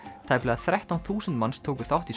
tæplega þrettán þúsund manns tóku þátt í